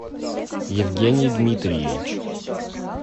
евгений дмитриевич